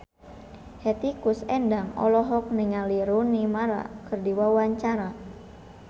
Hetty Koes Endang olohok ningali Rooney Mara keur diwawancara